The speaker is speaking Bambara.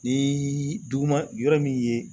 Ni duguma yɔrɔ min ye